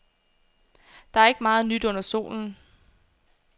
Der er ikke meget nyt under solen.